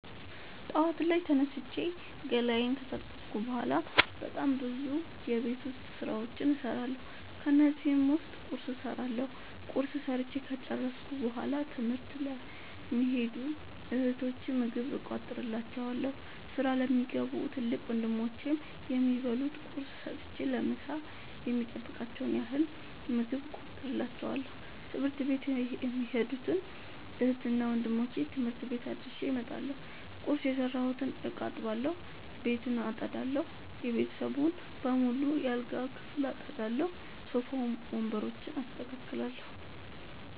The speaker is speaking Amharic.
ጠዋት ላይ ተነስቼ ገላየን ከታጠብኩ በሗላ በጣም ብዙ የቤት ዉስጥ ስራዎችን እሠራለሁ። ከነዚህም ዉስጥ ቁርስ እሠራለሁ። ቁርስ ሠርቸ ከጨረሥኩ በሗላ ትምህርት ለሚኸዱ እህቶቸ ምግብ እቋጥርላቸዋለሁ። ስራ ለሚገቡ ትልቅ ወንድሞቼም የሚበሉት ቁርስ ሰጥቸ ለምሣ የሚበቃቸዉን ያህል ምግብ እቋጥርላቸዋለሁ። ትምህርት ቤት የሚኸዱትን እህትና ወንድሞቼ ትምህርት ቤት አድርሼ እመጣለሁ። ቁርስ የሰራሁበትን እቃ አጥባለሁ። ቤቱን አጠዳለሁ። የቤተሰቡን በሙሉ የአልጋ ክፍል አጠዳለሁ። ሶፋ ወንበሮችን አስተካክላለሁ።